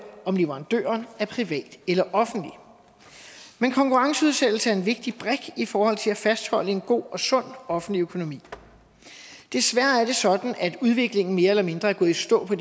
om leverandøren er privat eller offentlig men konkurrenceudsættelse er en vigtig brik i forhold til at fastholde en god og sund offentlig økonomi desværre er det sådan at udviklingen mere eller mindre er gået i stå på